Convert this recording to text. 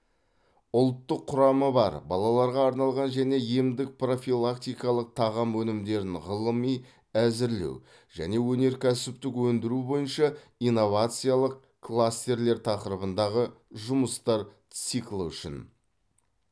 ұлттық құрамы бар балаларға арналған және емдік профилактикалық тағам өнімдерін ғылыми әзірлеу және өнеркәсіптік өндіру бойынша инновациялық кластерлер тақырыбындағы жұмыстар циклі үшін